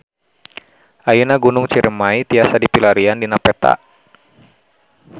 Ayeuna Gunung Ciremay tiasa dipilarian dina peta